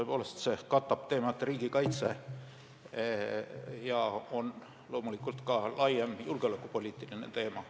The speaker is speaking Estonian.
Tõepoolest, see küsimus katab riigikaitse teemat ja see on loomulikult ka laiem julgeolekupoliitiline teema.